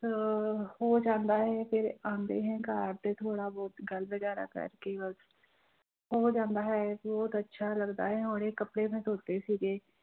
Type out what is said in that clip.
ਅਹ ਹੋ ਜਾਂਦਾ ਹੈ ਫਿਰ ਇਹ ਆਉਂਦੇ ਹੈ ਘਰ ਤੇ ਥੋੜ੍ਹਾ ਬਹੁਤ ਗੱਲ ਵਗ਼ੈਰਾ ਕਰਕੇ ਬਸ, ਹੋ ਜਾਂਦਾ ਹੈ ਬਹੁਤ ਅੱਛਾ ਲੱਗਦਾ ਹੈ ਹੁਣੇ ਕੱਪੜੇ ਮੈਂ ਧੋਤੇ ਸੀਗੇੇ